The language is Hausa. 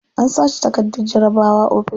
An sace takardar jarabawa ofis.